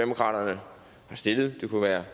har stillet det kunne være